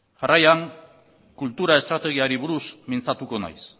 jarraian kultura estrategiari buruz mintzatuko naiz